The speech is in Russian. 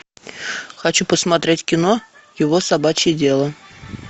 хочу посмотреть кино его собачье дело